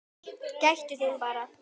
Gættu þín bara!